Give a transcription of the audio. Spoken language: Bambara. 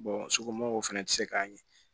somɔgɔw fɛnɛ bɛ se k'a ɲɛ